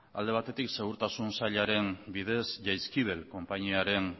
alde batetik segurtasun sailaren bidez jaizkibel konpainiaren